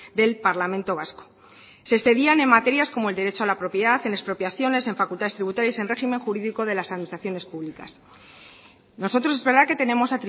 del parlamento vasco se excedían en materias como el derecho a la propiedad en expropiaciones en facultades tributarias en régimen jurídico de las administraciones públicas nosotros es verdad que tenemos